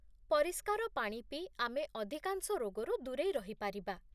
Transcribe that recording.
ପରିଷ୍କାର ପାଣି ପିଇ ଆମେ ଅଧିକାଂଶ ରୋଗରୁ ଦୂରେଇ ରହିପାରିବା